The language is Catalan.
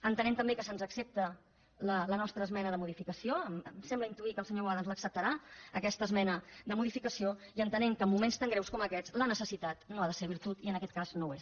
entenem també que se’ns accepta la nostra esmena de modificació em sembla intuir que el senyor boada ens l’acceptarà aquesta esmena de modificació i entenem que en moments tan greus com aquests la necessitat no ha de ser virtut i en aquest cas no ho és